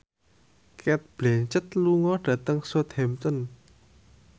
Cate Blanchett lunga dhateng Southampton